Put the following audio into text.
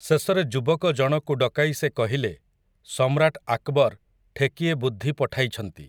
ଶେଷରେ ଯୁବକ ଜଣକୁ ଡକାଇ ସେ କହିଲେ, 'ସମ୍ରାଟ୍ ଆକ୍‌ବର୍ ଠେକିଏ ବୁଦ୍ଧି ପଠାଇଛନ୍ତି ।